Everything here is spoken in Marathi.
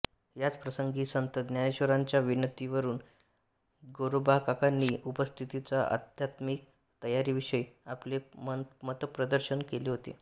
याच प्रसंगी संत ज्ञानेश्वरांच्या विनंतीवरून गोरोबाकाकांनी उपस्थितांच्या आध्यात्मिक तयारीविषयी आपले मतप्रदर्शन केले होते